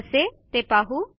कसे ते पाहू